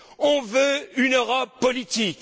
On veut une Europe politique.